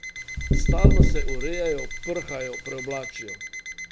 Stalno se urejajo, prhajo, preoblačijo.